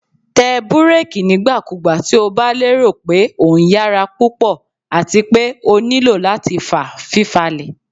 Tẹ bureki nigbakugba ti o ba lero pe o nyara pupọ ati pe o nilo lati fa fifalẹ